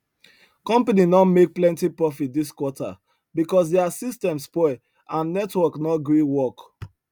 company no make plenty profit this quarter because their system spoil and network no gree work